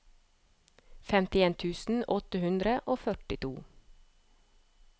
femtien tusen åtte hundre og førtito